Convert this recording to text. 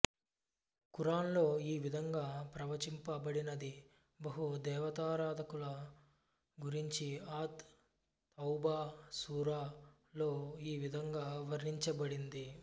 ఖురాన్లో ఈ విధంగా ప్రవచింప బడినది బహుదేవతారాధకుల గురించి అత్ తౌబా సూరా లో ఈ విధంగా వర్ణించబడింది